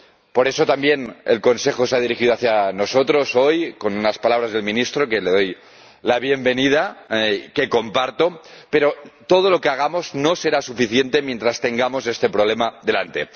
Por eso también el Consejo se ha dirigido a nosotros hoy con las palabras del ministro —al que doy la bienvenida—, que comparto, pero todo lo que hagamos no será suficiente mientras tengamos este problema delante.